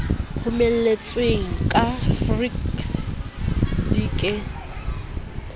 rometsweng ka fekse di ke